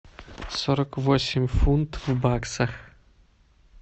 сорок восемь фунт в баксах